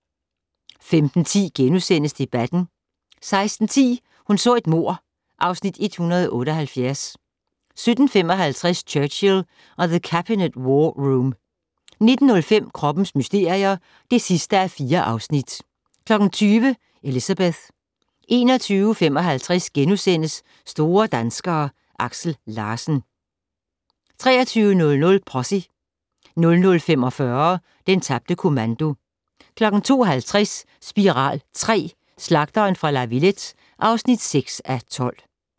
15:10: Debatten * 16:10: Hun så et mord (Afs. 178) 17:55: Churchill og The Cabinet War Room 19:05: Kroppens mysterier (4:4) 20:00: Elizabeth 21:55: Store danskere: Aksel Larsen * 23:00: Posse 00:45: Den tabte kommando 02:50: Spiral III: Slagteren fra La Villette (6:12)